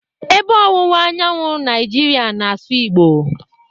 Ebe ọwụwa anyanwụ Naijiria na-asụ Igbo.